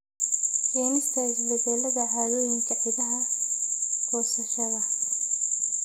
Keenista isbeddelada caadooyinka ciidaha goosashada.